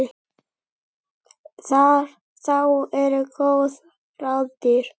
Þá eru góð ráð dýr.